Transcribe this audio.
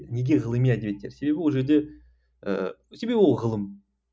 неге ғылыми әдебиеттер себебі ол жерде ы себебі ол ғылым